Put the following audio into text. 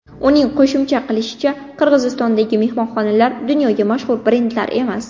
Uning qo‘shimcha qilishicha, Qirg‘izistondagi mehmonxonalar dunyoga mashhur brendlar emas.